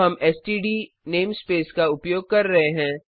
तो हम STD namespace का उपयोग कर रहे हैं